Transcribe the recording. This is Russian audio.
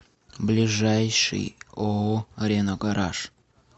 ближайший ооо рено гараж